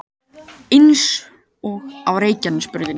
Eins og á Reykjanesbrautinni